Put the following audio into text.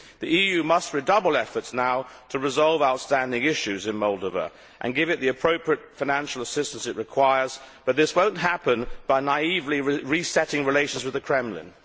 The EU must redouble efforts now to resolve outstanding issues in Moldova and give it the appropriate financial assistance it requires, but this will not happen by naively resetting relations with the Kremlin.